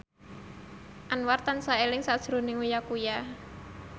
Anwar tansah eling sakjroning Uya Kuya